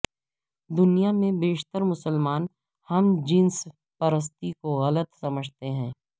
دنیا میں بیشتر مسلمان ہم جنس پرستی کو غلط سمجھتے ہیں